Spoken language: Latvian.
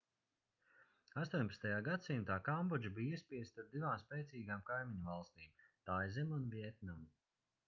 18. gadsimtā kambodža bija iespiesta starp divām spēcīgām kaimiņvalstīm taizemi un vjetnamu